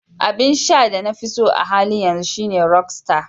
Abin sha na da na fiso a halin yanzu shine "Rockstar".